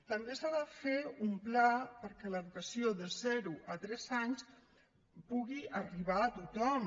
també s’ha de fer un pla perquè l’educació de zero a tres anys pugui arribar a tothom